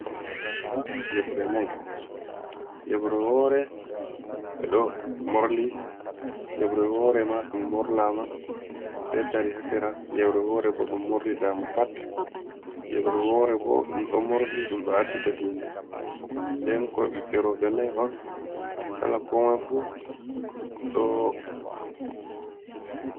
Pawne gasa yeɓre nay, yeɓre wore ɓeɗo morli, yeɓre wore ma ɗum morlama be tari ha sera, yebre wore bo ɗum morli dama pat, yeɓre wore bo ɗum ɗo morli ɗum ɗo acci ha tinde, nden ko ɓiɓɓe roɓɓe nai on kala komai fu ɗo.